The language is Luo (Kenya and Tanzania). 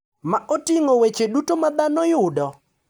ma oting’o weche duto ma dhano yudo